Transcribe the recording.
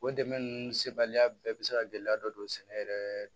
O dɛmɛ ninnu sebaliya bɛɛ bɛ se ka gɛlɛya dɔ don sɛnɛ yɛrɛ